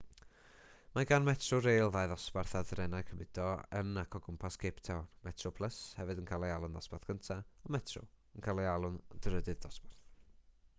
mae gan metrorail ddau ddosbarth ar drenau cymudo yn ac o gwmpas cape town: metroplus hefyd yn cael ei alw'n ddosbarth cyntaf a metro yn cael ei alw'n drydydd dosbarth